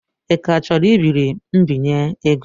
Ị ka chọrọ ibiri mbinye ego?